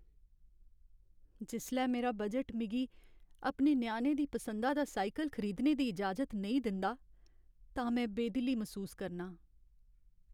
जिसलै मेरा बजट मिगी अपने ञ्याणे दी पसंदा दा साइकल खरीदने दी इजाजत नेईं दिंदा तां में बेदिली मसूस करनां ।